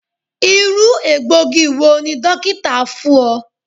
Iru egboogi wo ni dokita fun ọ?